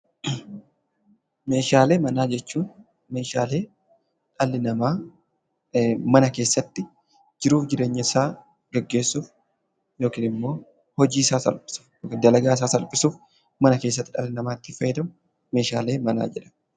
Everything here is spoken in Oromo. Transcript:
Meeshaalee manaa jechuun meeshaalee dhalli namaa mana keessatti jiruu fi jireenya isaa gaggeessuuf yookiin hojii isaa salphisuuf, dalagaa isaa salphisuuf mana keessatti dhalli namaa itti fayyadamu meeshaalee manaa jedhama.